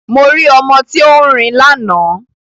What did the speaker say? Mo rí ọmọ tí ó ń rin lánàá